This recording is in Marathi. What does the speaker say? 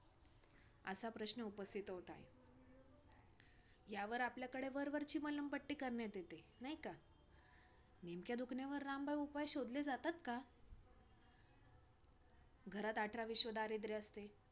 असा प्रश्न उपस्थित होत आहे. यावर आपल्याकडे वरवरची मलमपट्टी करण्यात येते, नाही का? नेमक्या दुखण्यावर रामबाण उपाय शोधले जातात का? घरात अठरा विश्व दारिद्र्य असते,